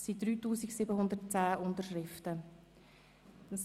Diese Petition ist von 3110 Leuten unterschrieben worden.